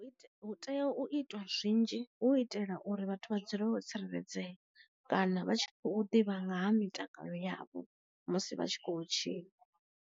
U tea u itwa zwinzhi hu itela uri vhathu vha dzule vho tsireledzea kana vha tshi kho ḓivha nga ha mitakalo yavho musi vha tshi kho tshila.